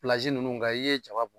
nunnu , ngakan i ye jaba bɔ.